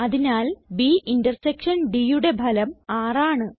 അതിനാൽ B intersection Dയുടെ ഫലം 6 ആണ്